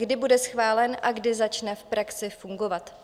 Kdy bude schválen a kdy začne v praxi fungovat?